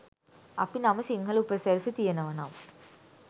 අපි නම සිංහල උපසිරැසි තියෙනවනම්